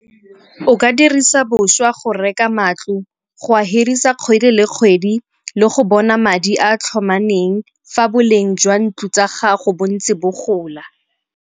O ka dirisa boswa go reka matlo, go hirisa kgwedi le kgwedi le go bona madi a a tlhomameng fa boleng jwa ntlo tsa gago bo ntse bo gola.